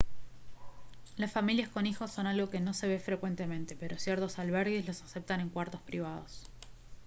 las familias con hijos son algo que no se ve frecuentemente pero ciertos albergues los aceptan en cuartos privados